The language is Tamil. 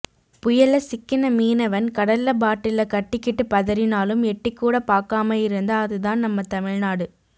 புயல்ல சிக்கின மீனவன் கடல்ல பாட்டில கட்டிகிட்டு பதறினாலும் எட்டிக்கூட பாக்காம இருந்தா அதுதான் நம்ம தமிழ்நாடு